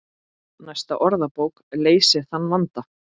Næsta orðabók leysir þann vanda.